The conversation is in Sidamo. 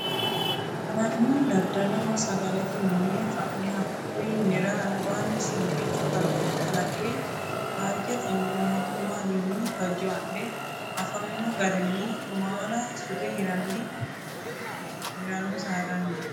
Mannu daddaloho sagalete mine fa'ne hakkuyi minira albaani suuqicho kalaqe faajetenni mootimmawinni fajo adhe afamino garinni maala sute hirano saadaniha.